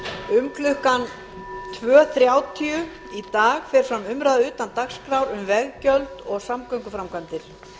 um klukkan tvö þrjátíu í dag fer fram umræða utan dagskrár um veggjöld og samgönguframkvæmdir